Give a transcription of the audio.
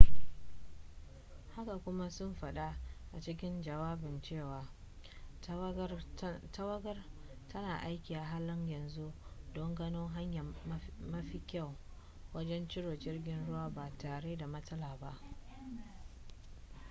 haka kuma sun faɗa a cikin jawabin cewa tawagar tana aiki a halin yanzu don gano hanya mafi kyau wajen ciro jirgin ruwan ba tare da matsala ba